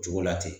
Cogo la ten